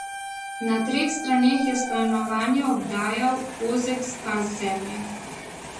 Na treh straneh je stanovanje obdajal ozek pas zemlje.